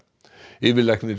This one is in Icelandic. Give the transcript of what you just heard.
yfirlæknir